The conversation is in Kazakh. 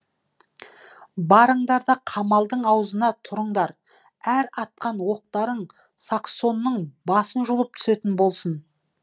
барыңдар да қамалдың аузына тұрыңдар әр атқан оқтарың саксонның басын жұлып түсетін болсын